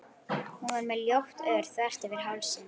Hún var með ljótt ör þvert yfir hálsinn.